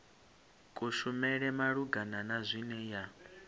kushumele malugana na zwine ya